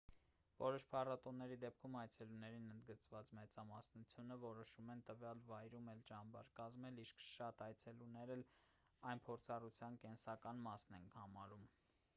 որոշ փառատոնների դեպքում այցելուների ընդգծված մեծամասնությունը որոշում են տվյալ վայրում էլ ճամբար կազմել իսկ շատ այցելուներ էլ այն փորձառության կենսական մասն են համարում